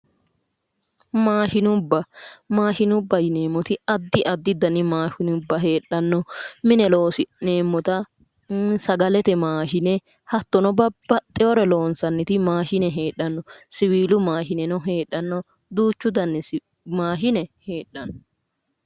Maashinubba maashinubba yineemmoti addi addi dani maashinubba heedhanno mine loosi'neemmota sagalete maashine hattono babbaxewoore loonsanniti maashine heedhanno. siwiilu maashineno heedhanno. duuchu dani maashine heedhanno.